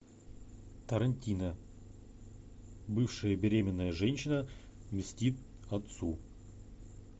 тарантино бывшая беременная женщина мстит отцу